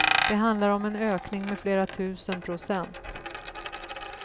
Det handlar om en ökning med flera tusen procent.